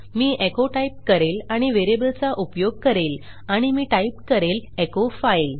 मी echo type करेल आणि variable चा उपयोग करेल आणि मी टाइप करेल एचो फाइल